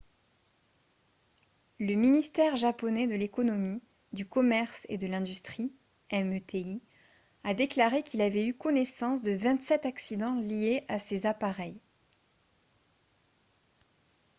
le ministère japonais de l'économie du commerce et de l'industrie meti a déclaré qu'il avait eu connaissance de 27 accidents liés à ces appareils